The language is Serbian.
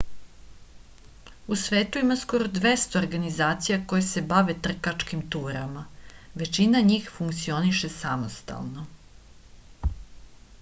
u svetu ima skoro 200 organizacija koje se bave trkačkim turama većina njih funkcioniše samostalno